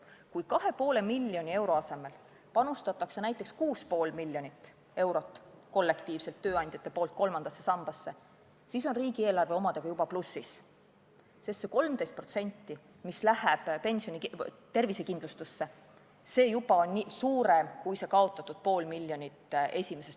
Kui 2,5 miljoni euro asemel panustavad tööandjad kollektiivselt näiteks 6,5 miljonit eurot kolmandasse sambasse, siis on riigieelarve omadega juba plussis, sest see 13%, mis läheb tervisekindlustusse, on juba suurem summa kui see esimeses sambas kaotatud pool miljonit.